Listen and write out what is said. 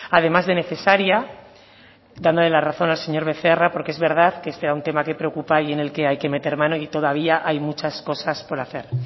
además de necesaria dándole la razón al señor becerra porque es verdad que es un tema que preocupa y en el que hay que meter mano y todavía hay muchas cosas por hacer